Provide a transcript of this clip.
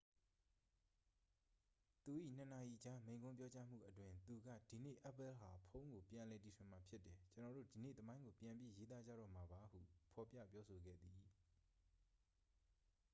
"သူ၏ ၂ နာရီကြား မိန့်ခွန်းပြောကြားမှုအတွင်း သူက "ဒီနေ့ apple ဟာ ဖုန်းကို ပြန်လည်တီထွင်မှာ ဖြစ်တယ်။ ကျွန်တော်တို့ ဒီနေ့သမိုင်းကို ပြန်ပြီးရေးသားကြတော့မှာပါ" ဟု ဖော်ပြပြောဆိုခဲ့သည်။